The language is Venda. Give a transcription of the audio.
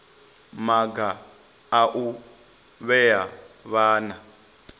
maga a u vhea vhana